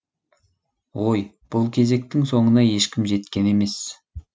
ой бұл кезектің соңына ешкім жеткен емес